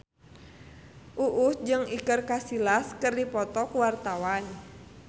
Uus jeung Iker Casillas keur dipoto ku wartawan